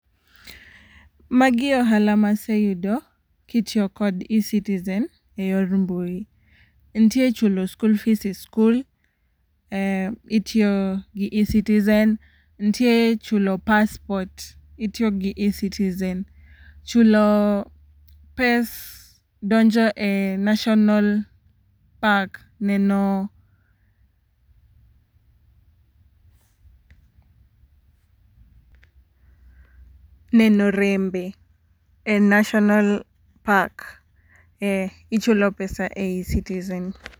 Magi e ohala maseyudo kitio kod eCitizen e yor mbui. Ntie chulo school fees e school, eh itio gi eCitizen, ntie chulo passport itiogi eCitizen. Chulo pes donjo e national park neno neno rembe e national park, eh ichulo pesa e eCitizen.